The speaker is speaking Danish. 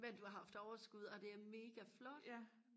men du har haft overskud og det er mega flot